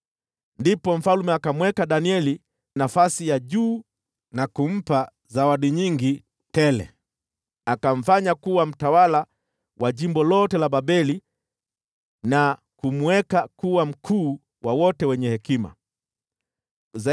Ndipo mfalme akamweka Danieli nafasi ya juu, na kumpa zawadi nyingi tele. Akamfanya kuwa mtawala wa jimbo lote la Babeli, na kumweka kuwa mkuu wa wenye hekima wote.